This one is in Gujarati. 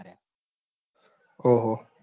ઓહહ